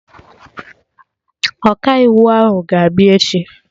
Ọkaiwu ahụ ga-abịa echi